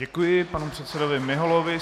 Děkuji panu předsedovi Miholovi.